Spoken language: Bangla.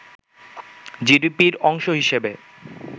জিডিপির অংশ হিসেবে